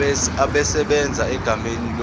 esebenza egameni lomqashi